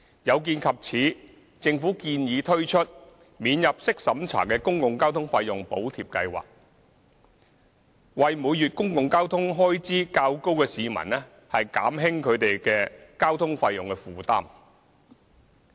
有見及此，政府建議推出免入息審查的公共交通費用補貼計劃，為每月公共交通開支較高的市民減輕交通費用負擔。